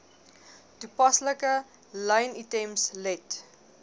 toepaslike lynitems let